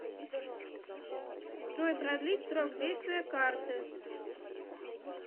джой продлить срок действия карты